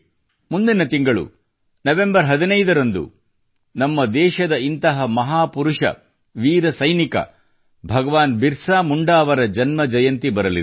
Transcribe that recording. ಮುಂದಿನ ತಿಂಗಳು ನವೆಂಬರ್ 15 ರಂದು ನಮ್ಮ ದೇಶದ ಇಂತಹ ಮಹಾಪುರುಷ ವೀರ ಸೈನಿಕ ಭಗವಾನ್ ಬಿರಸಾ ಮುಂಡಾ ಅವರ ಜನ್ಮ ಜಯಂತಿ ಬರಲಿದೆ